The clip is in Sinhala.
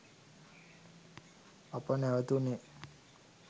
අප නැවතුණේ